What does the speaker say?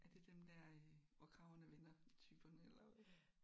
Er det dem der øh Hvor kragerne vender-typerne eller hvad?